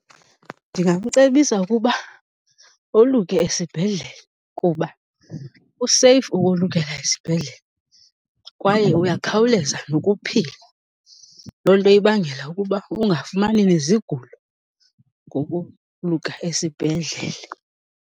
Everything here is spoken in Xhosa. Ndingamcebisa ukuba oluke esibhedlele kuba kuseyifu ukolukela esibhedlele kwaye uyakhawuleza nokuphila, loo nto ibangela ukuba ungafumani nezigulo ngokuluka esibhedlele.